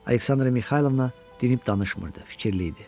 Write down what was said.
Aleksandra Mixaylovna dinib danışmırdı, fikirli idi.